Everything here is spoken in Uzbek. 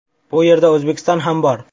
Bu yerda O‘zbekiston ham bor .